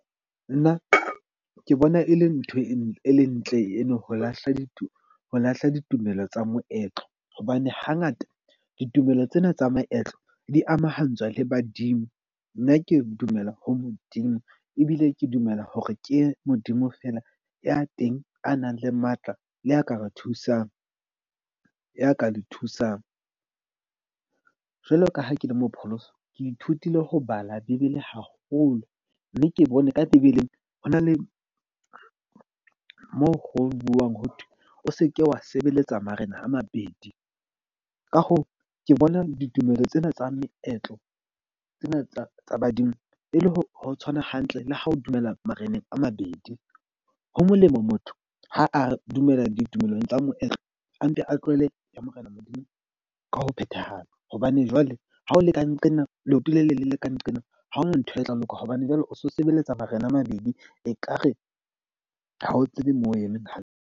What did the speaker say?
Nna ke bona e le ntho e ntle eno ho lahla ditumelo tsa moetlo. Hobane hangata ditumelo tsena tsa maetlo di amahantshwa le badimo. Nna ke dumela ho Modimo, ebile ke dumela hore ke Modimo feela ya teng a nang le matla, le a ka re thusang ya ka le thusang. Jwalo ka ha ke le mopholoso, ke ithutile ho bala bebele haholo. Mme ke bone ka bebeleng. Ho na le moo ho buuwang ho thwe o seke wa sebeletsa marena a mabedi. Ka hoo, ke bona ditumelo tsena tsa meetlo tsena tsa badimo e le ho tshwana hantle le ha o dumela mareneng a mabedi. Ho molemo motho ha a dumela ditumelo tsa moetlo. A mpe a tlohele ya Morena Modimo ka ho phethahala. Hobane jwale ha o le ka nqena leoto le le leng le ka nqena ha hona ntho e tla loka. Hobane jwale o so sebeletsa marena a mabedi, ekare ha o tsebe moo o emeng hantle.